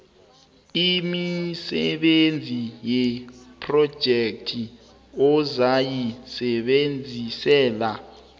imisebenzi yephrojekhthi ozayisebenzisela